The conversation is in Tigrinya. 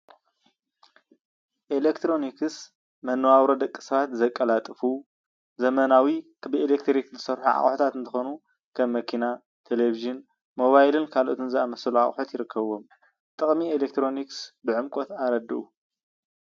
ኤሌክትሮኒክስ መነባብሮ ደቂ ሰባት ዘቀላጥፉ ዘመናዊ ብኤሌትሪክ ዝሰርሑ ኣቅሑታት እንትኮኑ ከም መኪና፣ ቴሌቪዥን፣ ሞባይልን ካልኦት ዝኣምሳሰሉ ኣቅሑት ይርከብዎም፡፡ ጥቅሚ ኤሌትሪክ ብዕምቆት ኣረድኡ?